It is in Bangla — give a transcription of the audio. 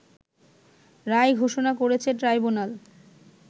রায় ঘোষণা করেছে ট্রাইব্যুনাল